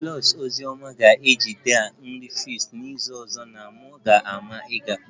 Pulse ozi ọma ga-ejide a nri fest n'izu ọzọ na m ga-maa ịga